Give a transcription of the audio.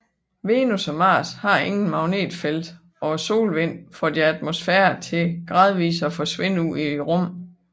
Venus og Mars har intet magnetfelt og solvinden får deres atmosfærer til gradvist at forsvinde ud i rummet